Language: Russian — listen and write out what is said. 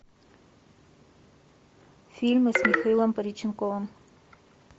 фильмы с михаилом пореченковым